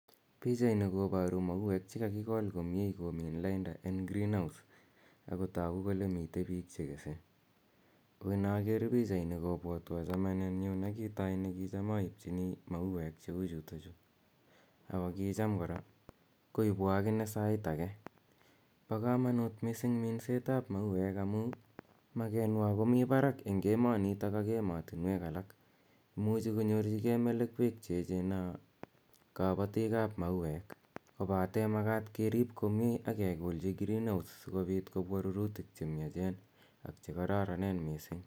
Pichaini koparu mauek che kakikol komye komin lainda en greenhouse ako tagu kole mitei piik che kese. Ko inaker pichaini kopwatwa chamanenyu ne kitai ne kicham aipchini mauek che u chutachu ako kicham kora koipwa akine sait age. Pa kamanut missing' minset ap mauek amu makwenwa ko mi parak missing' eng' emanitok ak ematunwek alak. Imuchi konyorchigei melekwek che echen naa kapatiik ap mauek kopate makat kerip komye ak kekolchi green house asikopwa rurutik che miachen ak che kararanen missing'.